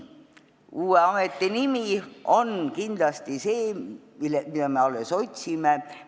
Uue ameti nimi on kindlasti see, mida me alles otsime.